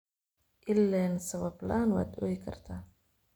Ilen! Sawab laan waad ooyikarta.